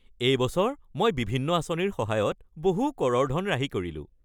এই বছৰ মই বিভিন্ন আঁচনিৰ সহায়ত বহু কৰৰ ধন ৰাহি কৰিলোঁ।